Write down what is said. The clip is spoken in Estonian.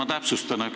Ma täpsustan.